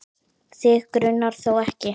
Þig grunar þó ekki?